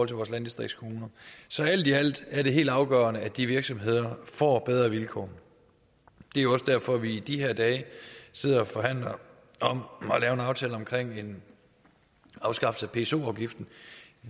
til vores landdistriktskommuner så alt i alt er det helt afgørende at de virksomheder får bedre vilkår det er jo også derfor at vi i de her dage sidder og forhandler om at lave en aftale omkring en afskaffelse af pso afgiften